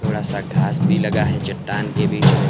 थोड़ा सा घास भी लगा है चट्टान के बीच में।